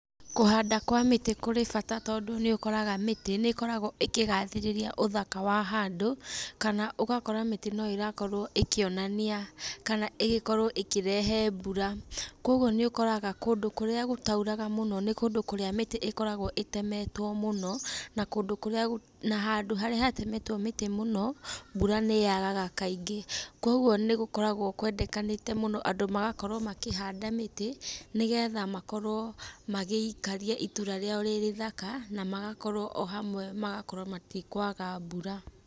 Kũhanda kwa mĩtĩ kũrĩ bata tondũ nĩ ũkoraga mĩtĩ nĩ ĩkoragwo ĩkĩgathĩrĩria ũthaka wa handũ kana ũgakora mĩtĩ no ĩrakorwo ĩkĩonania kana ĩgĩkorwo ĩkĩrehe mbura. Kwoguo nĩũkoraga kũndũ kũrĩa gũtairaga mũno nĩ kũndũ kũrĩa mĩtĩ ĩkoragwo ĩtemetwo mũno na kũndũ kũrĩa na handũ harĩa hatemetwo mĩtĩ mũno mbura nĩ yagaga kaingĩ. Kwoguo nĩ gũkoragwo kwendekanĩte mũno andũ magakorwo makĩhanda mĩtĩ nĩgetha makorwo magĩikaria itũra rĩao rĩ rĩthaka na magakorwo o hamwe magakorwo matikwaga mbura.